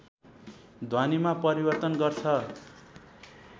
ध्वनिमा परिवर्तन गर्छ